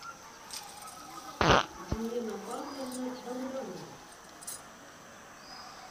елена павловна богданова